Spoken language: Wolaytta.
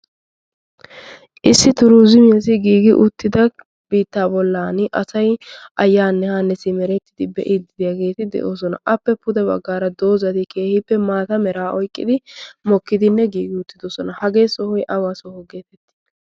issi turuzimiyaas giigi uttida biittaa bollan asai ayyaanne haannesi merettidi be'iidiiyaageeti de'oosona appe pude baggaara doozati keehiippe maata meraa oiqqidi mokkidinne giigi uttidosona hagee sohoy awaa soho geefettii